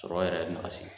Sɔrɔ yɛrɛ nasi